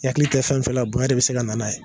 I hakili tɛ fɛn fɛn la bonya de bi se ka na n'a ye